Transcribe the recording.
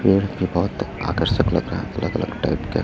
पेड़ के बहोत आकर्षक लग रहा अलग अलग टाइप का--